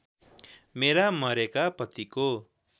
मेरा मरेका पतिको